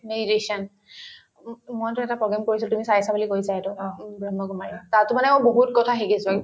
meditation ও ও মইতো এটা program কৰিছিলো তুমি চাইছা বুলি কৈছা সেইটো উম ব্ৰহ্মকুমাৰীৰ তাতো মানেও বহুত কথা শিকিছো )